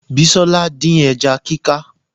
Bisola dín ẹja kíká